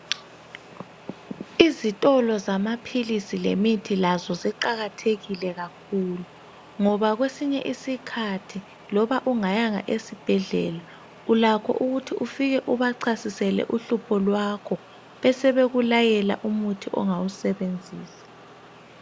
Izitolo zamaphilisi lemithi lazo ziqakathekile ngoba kwesinye isikhathi loba ungayanga esibhedlela ulakho ukuthi ufike ubachasisele uhlupho kwakho besebekulayela umuthi ongawusebenzisa.